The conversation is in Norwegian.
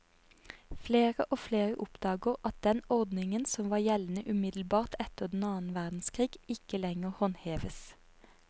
Flere og flere oppdager at den ordningen som var gjeldende umiddelbart etter den annen verdenskrig, ikke lenger håndheves.